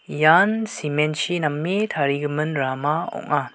ian cement-chi name tarigimin rama ong·a.